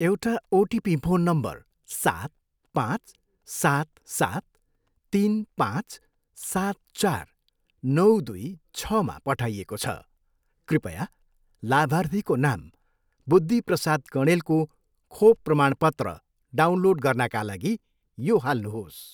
एउटा OTP phone number सात, पाँच, सात, सात, तिन, पाँच, सात, चार, नौ, दुई, छमा पठाइएको छ। कृपया लाभार्थीको नाम बुद्धि प्रसाद कँडेलको खोप प्रमाणपत्र डाउनलोड गर्नाका लागि यो हाल्नुहोस्।